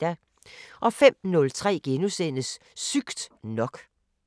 05:03: Sygt nok *